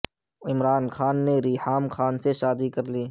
عمران خان نے ریحام خان سے شادی کر لی